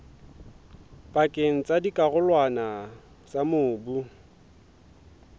pakeng tsa dikarolwana tsa mobu